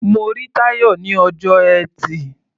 Mo rí Táyọ̀ ní ọjọ́ Ẹtì.